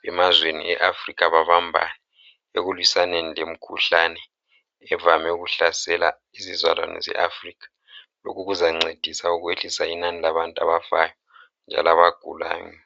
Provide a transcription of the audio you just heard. bemazweni eAfrica babambane ekulwisaneni lemikhuhlane evame ukuhlasela izizalwane zeAfrica lokhu kuzancedisa ukwehlisa inani labantu abafayo njalo abagulayo.